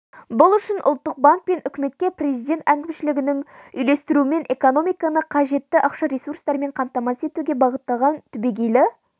бұл үшін ұлттық банк пен үкіметке президент әкімшілігінің үйлестіруімен экономиканы қажетті ақша ресурстарымен қамтамасыз етуге бағытталған түбегейлі